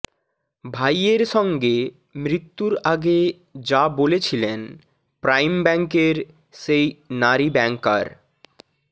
ভাইয়ের সঙ্গে মৃত্যুর আগে যা বলেছিলেন প্রাইম ব্যাংকের সেই নারী ব্যাংকার